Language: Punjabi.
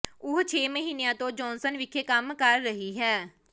ਉਹ ਛੇ ਮਹੀਨਿਆਂ ਤੋਂ ਜਾਨਸਨ ਵਿਖੇ ਕੰਮ ਕਰ ਰਹੀ ਹੈ